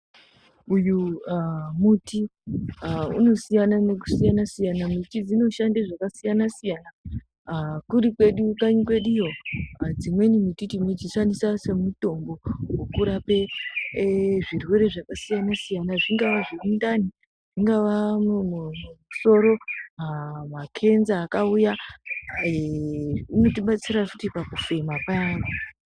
Uyu muti unosiyana nekusiyana-siyana miti dzinosishande zvakasiyana-siyana, haa kuri kwedu kanyi kweduyo dzimweni muti tinodzishandisa semutombo wekurape zvirwere zvakasiyana-siyana zvingava zvemundani zvingava mumusoro makenza akauya, eee unotibetsera futi pakufema payana.